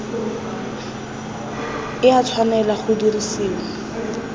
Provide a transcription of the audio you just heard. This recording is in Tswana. e a tshwanela go dirisiwa